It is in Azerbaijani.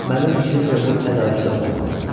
Mənim fikrimcə bu ədalətli olmadı.